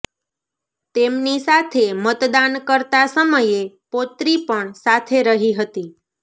તેમની સાથે મતદાન કરતા સમયે પૌત્રી પણ સાથે રહી હતી